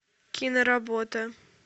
киноработа